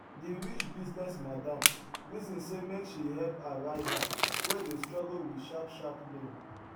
di rich business madam reason say make she help her rival wey dey struggle with sharp sharp loan